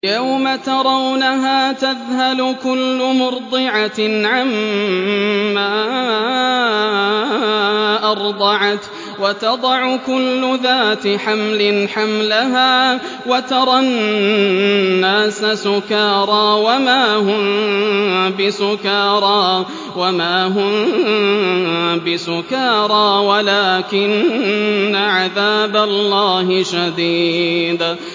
يَوْمَ تَرَوْنَهَا تَذْهَلُ كُلُّ مُرْضِعَةٍ عَمَّا أَرْضَعَتْ وَتَضَعُ كُلُّ ذَاتِ حَمْلٍ حَمْلَهَا وَتَرَى النَّاسَ سُكَارَىٰ وَمَا هُم بِسُكَارَىٰ وَلَٰكِنَّ عَذَابَ اللَّهِ شَدِيدٌ